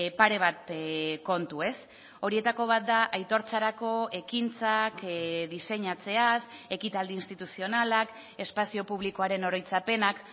pare bat kontu ez horietako bat da aitortzarako ekintzak diseinatzeaz ekitaldi instituzionalak espazio publikoaren oroitzapenak